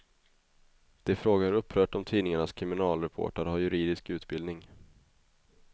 De frågar upprört om tidningarnas kriminalreportrar har juridisk utbildning.